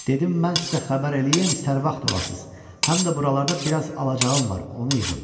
Dedim mən sizə xəbər eləyim, sərvat olasınız, həm də buralarda biraz alacağım var, onu yığım.